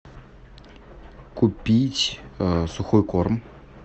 купить сухой корм